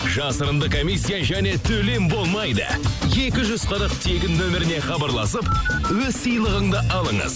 жасырынды комиссия және төлем болмайды екі жүз қырық тегін нөміріне хабарласып өз сыйлығыңды алыңыз